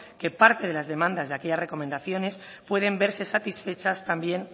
que parte de las demandas de aquellas recomendaciones pueden verse satisfechas también